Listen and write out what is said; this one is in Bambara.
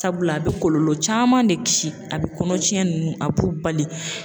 Sabula a be kɔlɔlɔ caman de kisi ,a be kɔnɔ tiɲɛ nunnu a b'u bali.